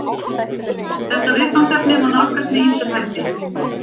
Þetta viðfangsefni má nálgast með ýmsum hætti.